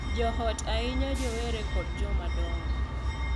Jo ot, ahinya rowere kod jomadongo,